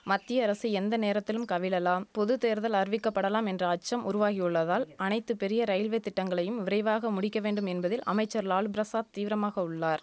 மத்திய அரசு எந்த நேரத்திலும் கவிழலாம் பொது தேர்தல் அறிவிக்கப்படலாம் என்ற அச்சம் உருவாகியுள்ளதால் அனைத்து பெரிய ரயில்வே திட்டங்களையும் விரைவாக முடிக்க வேண்டும் என்பதில் அமைச்சர் லாலு பிரசாத் தீவிரமாக உள்ளார்